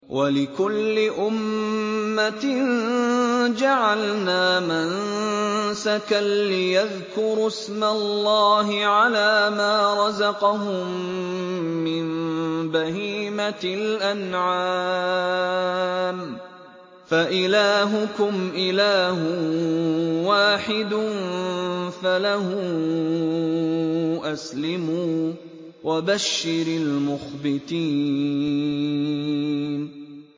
وَلِكُلِّ أُمَّةٍ جَعَلْنَا مَنسَكًا لِّيَذْكُرُوا اسْمَ اللَّهِ عَلَىٰ مَا رَزَقَهُم مِّن بَهِيمَةِ الْأَنْعَامِ ۗ فَإِلَٰهُكُمْ إِلَٰهٌ وَاحِدٌ فَلَهُ أَسْلِمُوا ۗ وَبَشِّرِ الْمُخْبِتِينَ